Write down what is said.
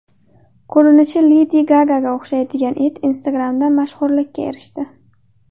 Ko‘rinishi Ledi Gagaga o‘xshaydigan it Instagram’da mashhurlikka erishdi.